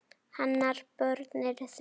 Hennar börn eru þrjú.